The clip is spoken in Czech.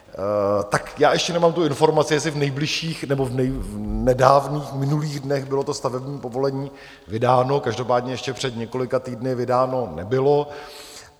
Tak já ještě nemám tu informaci, jestli v nejbližších nebo v nedávných minulých dnech bylo to stavební povolení vydáno, každopádně ještě před několika týdny vydáno nebylo.